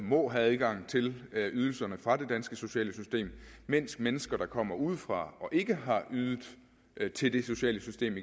må have adgang til ydelserne fra det danske sociale system mens mennesker der kommer udefra og ikke har ydet til det sociale system